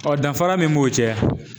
danfara min b'u cɛ.